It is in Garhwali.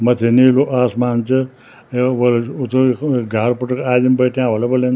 मथ्थै नीलू आसमान च योक बोलल वुत यख घार पुटुख आदिम बठ्याँ ह्वोल्या बोलेंद।